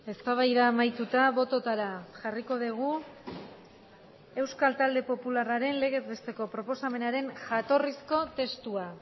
eztabaida amaituta bototara jarriko dugu euskal talde popularraren legez besteko proposamenaren jatorrizko testua